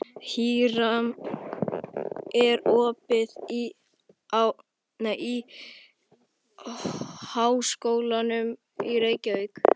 Híram, er opið í Háskólanum í Reykjavík?